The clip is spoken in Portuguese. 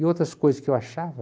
E outras coisas que eu achava...